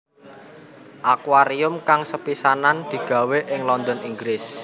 Akuarium kang sepisanan digawé ing London Inggris